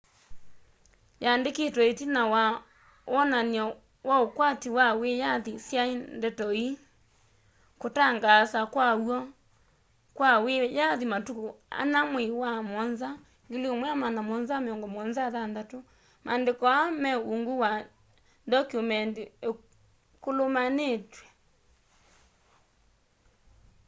yandikitwe itina wa wonany'o wa ukwati wa wiyathi syai ndeto ii kutangaasa kwaw'o kwa wiyathi matuku ana mwei wa muonza 1776 maandiko aa me ungu wa ndoky'umendi ikulumanitw'e